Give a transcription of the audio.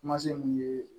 Kuma se mun ye